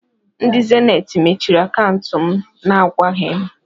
Ndị zeniit mechiri akantu m na-agwaghi m.